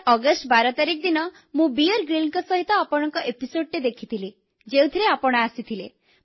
sir August 12 ତାରିଖ ଦିନ ମୁଁ ବିୟର Gryllsଙ୍କ ସାଥିରେ ଆପଣଙ୍କ ଅଧ୍ୟାୟଟି ଦେଖିଥିଲି ଯେଉଁଥିରେ ଆପଣ ଆସିଥିଲେ